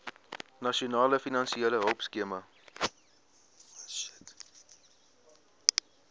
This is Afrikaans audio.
nasionale finansiële hulpskema